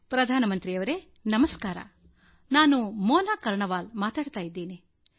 ಪ್ರಧಾನ ಮಂತ್ರಿಯವರೇ ನಮಸ್ಕಾರ ನಾನು ಮೋನಾ ಕರ್ಣವಾಲ್ ಮಾತಾಡ್ತಾ ಇದ್ದೀನಿ